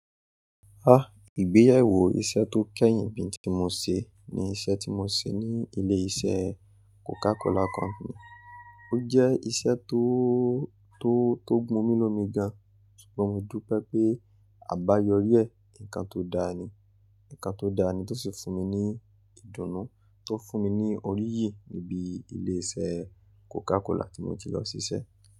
Ah! Ìgbéyewó iṣẹ́ tó kẹ́yìn bí tí mo ṣe, ní iṣẹ́ tí mo ṣe ní ilé iṣẹ́ Coca Cola Company. Ó jẹ́ iṣẹ́ tó, tó, tó gbún mi lomi gan, ṣùgbọ́n modú pẹ́ àbáyọrí ẹ, nǹkan tó dáa ni, nǹkan tó dáa ni tó sì fún mi ní ìdùnnú, tó fún mi ní oríyìí níbi ilé iṣẹ́ Coca Cola tí mo ti lọ síṣẹ́.